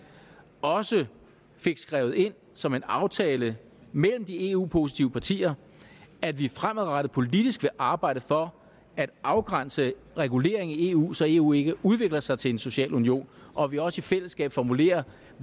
også fik skrevet ind som en aftale mellem de eu positive partier at vi fremadrettet politisk vil arbejde for at afgrænse reguleringer i eu så eu ikke udvikler sig til en social union og at vi også i fællesskab formulerer